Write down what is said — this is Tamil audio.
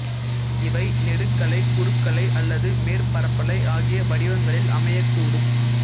இவை நெடுக்கலை குறுக்கலை அல்லது மேற்பரப்பலை ஆகிய வடிவங்களில் அமையக்கூடும்